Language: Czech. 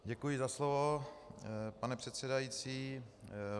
Děkuji za slovo, pane předsedající.